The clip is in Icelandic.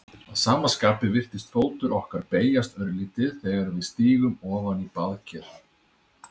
Að sama skapi virðist fótur okkar beygjast örlítið þegar við stígum ofan í baðker.